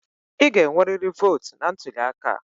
Ị ga-enwerịrị votu na ntuli aka!